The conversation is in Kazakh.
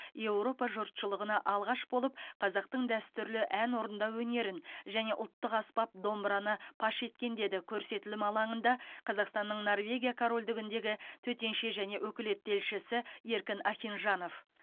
еуропа жұртшылығына алғаш болып қазақтың дәстүрлі ән орындау өнерін және ұлттық аспап домбыраны паш еткен деді көрсетілім алаңында қазақстанның норвегия корольдігіндегі төтенше және өкілетті елшісі еркін ахинжанов